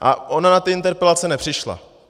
A ona na ty interpelace nepřišla.